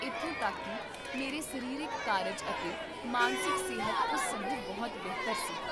ਇੱਥੋਂ ਤੱਕ ਕੀ ਮੇਰੇ ਸਰੀਰਕ ਕਾਰਜ ਅਤੇ ਮਾਨਸਿਕ ਸਿਹਤ ਉਸ ਸਮੇਂ ਬਹੁਤ ਬਿਹਤਰ ਸੀ